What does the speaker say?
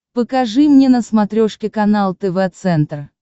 покажи мне на смотрешке канал тв центр